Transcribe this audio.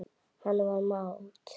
Hann var mát.